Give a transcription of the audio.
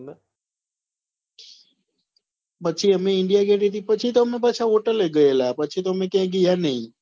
પછી અમે india gate થી પછી તો અમે પાછા hotel લે ગયેલા પછી તો અમે ક્યાય ગિયા નહિ.